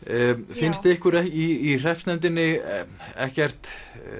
finnst ykkur í hreppsnefndinni ekkert